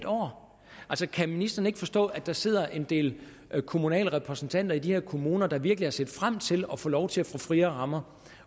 år altså kan ministeren ikke forstå at der sidder en del kommunale repræsentanter i de her kommuner der virkelig har set frem til at få lov til at få friere rammer